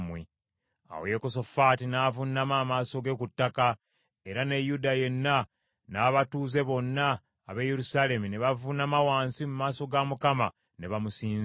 Awo Yekosafaati n’avuunama amaaso ge ku ttaka, era ne Yuda yenna n’abatuuze bonna ab’e Yerusaalemi ne bavuunama wansi mu maaso ga Mukama ne bamusinza.